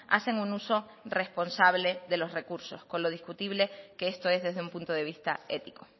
hacen un uso responsable de los recursos con lo discutible que esto es desde un punto de vista ético